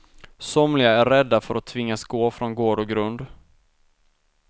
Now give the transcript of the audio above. Somliga är rädda för att tvingas gå från gård och grund.